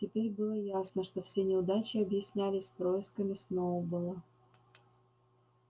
теперь было ясно что все неудачи объяснялись происками сноуболла